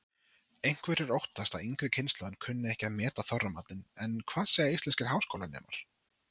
Einhverjir óttast að yngri kynslóðin kunni ekki að meta Þorramatinn en hvað segja íslenskir háskólanemar?